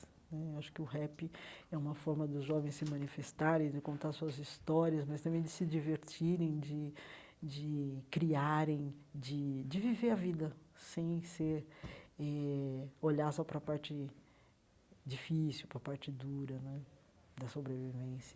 Né eu acho que o rap é uma forma dos jovens se manifestarem, de contar suas histórias, mas também de se divertirem, de de criarem, de de viver a vida sem ser eh olhar só para a parte difícil, para a parte dura né da sobrevivência.